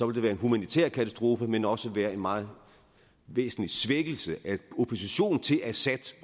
det være en humanitær katastrofe men også være en meget væsentlig svækkelse af oppositionen til assad